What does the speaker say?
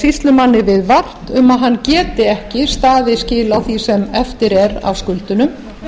sýslumanni viðvart um að hann geti ekki staðið skil á því sem eftir er af skuldunum